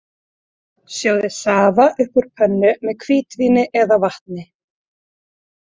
Sjóðið safa upp úr pönnu með hvítvíni eða vatni.